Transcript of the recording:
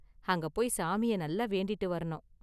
அங்க போய் சாமிய நல்லா வேண்டிட்டு வரணும்.